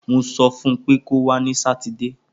Mo sọ fún pé kọwa ni Sátidé.